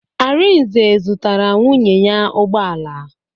Arinze zụtara nwunye ya ụgbọala.